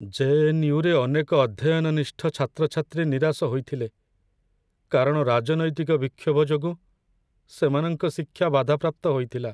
ଜେ.ଏନ୍.ୟୁ.ରେ ଅନେକ ଅଧ୍ୟୟନନିଷ୍ଠ ଛାତ୍ରଛାତ୍ରୀ ନିରାଶ ହୋଇଥିଲେ, କାରଣ ରାଜନୈତିକ ବିକ୍ଷୋଭ ଯୋଗୁଁ ସେମାନଙ୍କ ଶିକ୍ଷା ବାଧାପ୍ରାପ୍ତ ହୋଇଥିଲା।